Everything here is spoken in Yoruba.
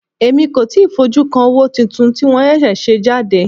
Èmi kò tíì fojú kan owó tuntun tí wọ́n ṣẹ̀ṣẹ̀ ṣe jáde.